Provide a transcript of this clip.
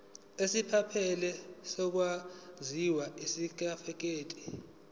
esiphelele sokuzalwa isitifikedi